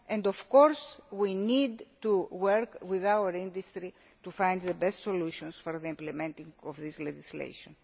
help us. Of course we need to work with our industry to find the best solutions for the implementation of this legislation.